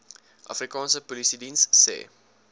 afrikaanse polisiediens se